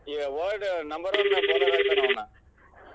ಈ old number one bowler ಆಗ್ತಾನ ಅವ್ನ್.